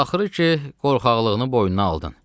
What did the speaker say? “Axırı ki, qorxaqlığını boynuna aldın.”